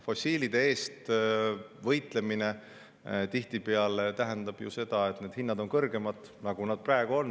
Fossiilide eest võitlemine tähendab tihtipeale seda, et hinnad on kõrgemad, nagu need praegu on.